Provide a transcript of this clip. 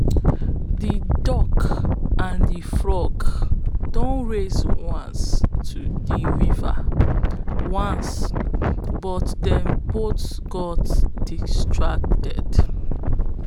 de duck and de frog don race to de river once but dem both got distracted